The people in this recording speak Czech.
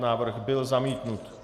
Návrh byl zamítnut.